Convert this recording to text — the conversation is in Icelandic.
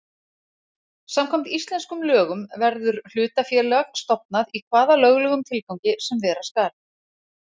Samkvæmt íslenskum lögum verður hlutafélag stofnað í hvaða löglegum tilgangi sem vera skal.